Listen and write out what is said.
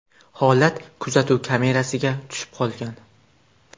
Holat kuzatuv kamerasiga tushib qolgan.